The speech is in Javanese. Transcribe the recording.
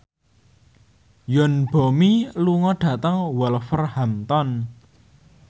Yoon Bomi lunga dhateng Wolverhampton